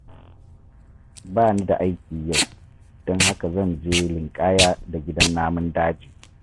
Ba ni da aiki yau, don haka zan je linƙaya da gidan namun daji.